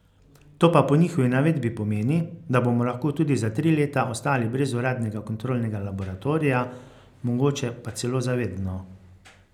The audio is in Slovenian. To pa po njihovi navedbi pomeni, da bomo lahko tudi za tri leta ostali brez uradnega kontrolnega laboratorija, mogoče pa celo za vedno.